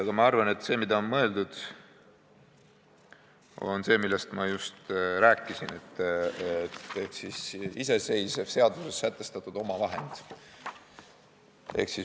Aga ma arvan, et on mõeldud seda, millest ma just rääkisin, ehk iseseisvat seaduses sätestatud omavahendit.